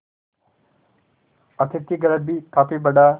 अतिथिगृह भी काफी बड़ा